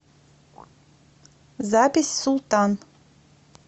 запись султан